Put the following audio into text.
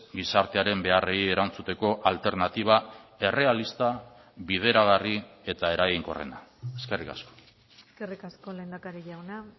gizartearen beharrei erantzuteko alternatiba errealista bideragarri eta eraginkorrena eskerrik asko eskerrik asko lehendakari jauna